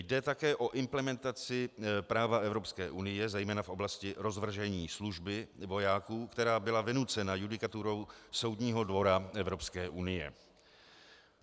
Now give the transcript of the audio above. Jde také o implementaci práva Evropské unie, zejména v oblasti rozvržení služby vojáků, která byla vynucena judikaturou Soudního dvora Evropské unie.